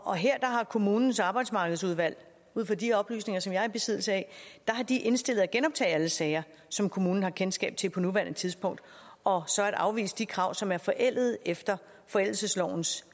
og her har kommunens arbejdsmarkedsudvalg ud fra de oplysninger som jeg er i besiddelse af indstillet at genoptage alle sager som kommunen har kendskab til på nuværende tidspunkt og så at afvise de krav som er forældede efter forældelseslovens